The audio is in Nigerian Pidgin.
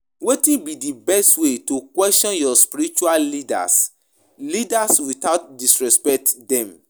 Wetin be di best way to question your spiritual leaders leaders without disrespecting dem?